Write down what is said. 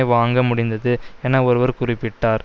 வாங்க முடிந்தது என ஒருவர் குறிப்பிட்டார்